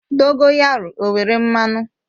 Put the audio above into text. Dogoyaru o nwere mmanụ?